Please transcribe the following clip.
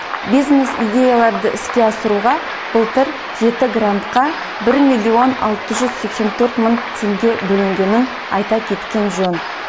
бизнес идеяларды іске асыруға былтыр жеті грантқа бір миллион алты жүз сексен төрт мың теңге бөлінгенін айта кеткен жөн